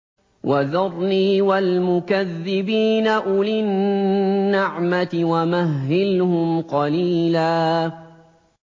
وَذَرْنِي وَالْمُكَذِّبِينَ أُولِي النَّعْمَةِ وَمَهِّلْهُمْ قَلِيلًا